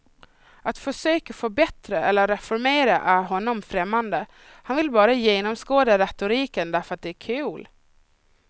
Att försöka förbättra eller reformera är honom främmande, han vill bara genomskåda retoriken därför att det är kul.